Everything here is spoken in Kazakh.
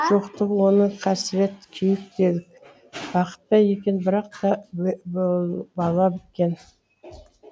жоқтығы оның қасірет күйік делік бақыт па екен бірақ та бала біткен